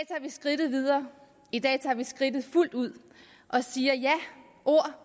skridtet videre i dag tager vi skridtet fuldt ud og siger ja ord